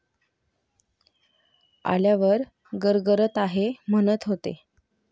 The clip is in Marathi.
आल्यावर गरगरत आहे म्हणत होते.